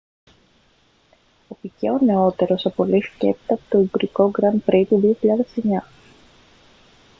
ο πικέ ο νεότερος απολύθηκε έπειτα από το ουγγρικό grand prix του 2009